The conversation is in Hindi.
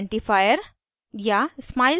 inchi identifier या